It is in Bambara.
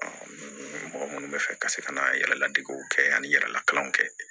mɔgɔ minnu bɛ fɛ ka se ka na yɛrɛladegew kɛ ani yɛrɛla kalanw kɛ